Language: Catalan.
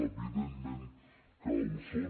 evidentment que ho són